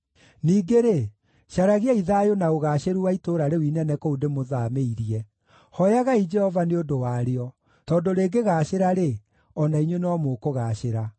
Ningĩ-rĩ, caragiai thayũ na ũgaacĩru wa itũũra rĩu inene kũu ndĩmũthaamĩirie. Hooyagai Jehova nĩ ũndũ warĩo, tondũ rĩngĩgaacĩra-rĩ, o na inyuĩ no mũkũgaacĩra.”